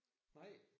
Nej